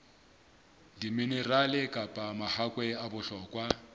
diminerale kapa mahakwe a bohlokwa